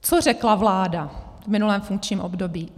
Co řekla vláda v minulém funkčním období?